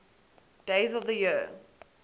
days of the year